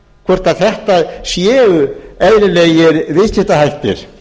hvort að þetta séu eðlilegir viðskiptahættir